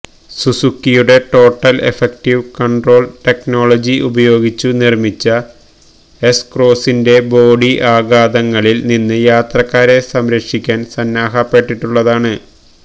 സുസൂക്കിയുടെ total effective control technology ഉപയോഗിച്ചു നിർമിച്ച S ക്രോസ്സിന്റെ ബോഡി ആഘാതങ്ങളിൽ നിന്ന് യാത്രക്കാരെ സംരക്ഷിക്കാൻ സന്നാഹപ്പെട്ടിട്ടുള്ളതാണ്